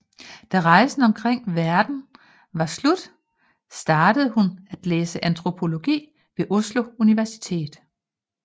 Da rejsen omkring verden var slut startede hun at læse antropologi ved Oslo Universitet